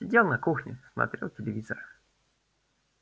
сидел на кухне смотрел телевизор